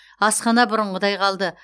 асхана бұрынғыдай қалды